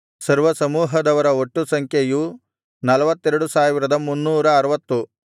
ಸರ್ವಸಮೂಹದವರ ಒಟ್ಟು ಸಂಖ್ಯೆಯು ನಲ್ವತ್ತೆರಡು ಸಾವಿರದ ಮುನ್ನೂರ ಆರವತ್ತು